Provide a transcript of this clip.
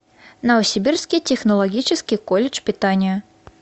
новосибирский технологический колледж питания